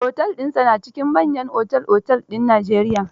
Otel dinsa na cikin manyan otel-otel din Najeriy